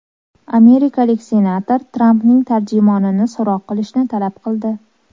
Amerikalik senator Trampning tarjimonini so‘roq qilishni talab qildi.